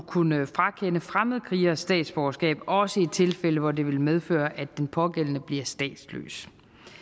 kunne frakende fremmedkrigere statsborgerskab også i tilfælde hvor det vil medføre at den pågældende bliver statsløs